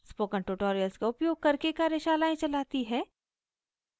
spoken tutorials का उपयोग करके कार्यशालाएं चलाती है